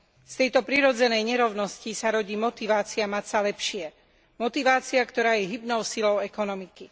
Z tejto prirodzenej nerovnosti sa rodí motivácia mať sa lepšie motivácia, ktorá je hybnou silou ekonomiky.